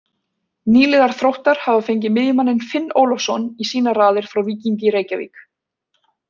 Nýliðar Þróttar hafa fengið miðjumanninn Finn Ólafsson í sínar raðir frá Víkingi Reykjavík.